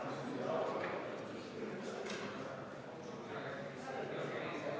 Palun võtta seisukoht ja hääletada!